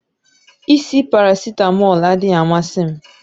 Isi paracetamol adịghị amasị m